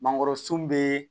Mangoro sun be